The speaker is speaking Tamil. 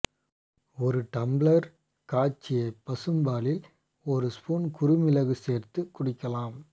ஒரு டம்ளர் காய்ச்சிய பசும் பாலில் ஒரு ஸ்பூன் குறுமிளகு சேர்த்து குடிக்கலாம்